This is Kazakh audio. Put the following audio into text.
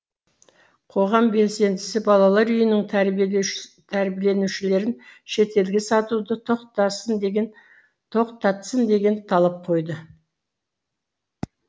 қоғам белсендісі балалар үйінің тәрбиеленушілерін шетелге сатуды тоқтатсын деген талап қойды